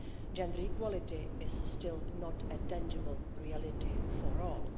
Gender equality is still not a tangible reality for all.